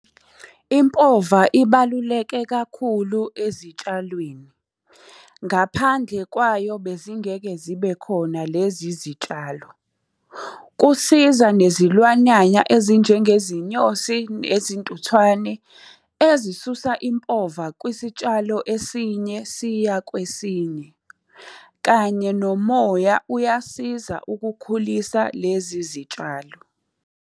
Impova ibaluleke kakhulu ezitshalweni. Ngaphandle kwayo bezingeke zibe khona lezi zitshalo. Kusiza nezilwanyanya ezinjengezinyosi, nezintuthwane, ezisusa impova kwisitshalo esinye siya kwesinye. Kanye nomoya uyasiza ukukhulisa lezi zitshalo.